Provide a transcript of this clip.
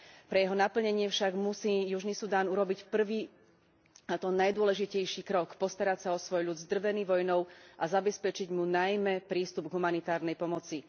Pre jeho naplnenie musí však Južný Sudán urobiť prvý, a to najdôležitejší krok postarať sa o svoj ľud zdrvený vojnou a zabezpečiť mu najmä prístup k humanitárnej pomoci.